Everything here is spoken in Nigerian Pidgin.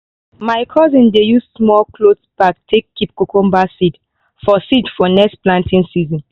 my cousin dey use small cloth bag take keep cucumber seeds for seeds for next planting season.